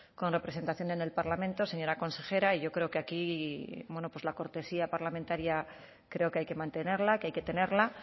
con representación en el parlamento señora consejera y yo creo que aquí bueno pues la cortesía parlamentaria creo que hay que mantenerla que hay que tenerla